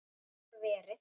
Gat verið!